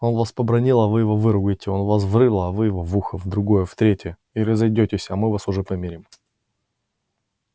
он вас побранил а вы его выругайте он вас в рыло а вы его в ухо в другое в третье и разойдитесь а мы вас уж помирим